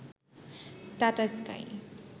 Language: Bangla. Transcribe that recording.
tata sky